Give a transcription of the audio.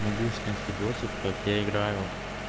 могу снять видосик как я играю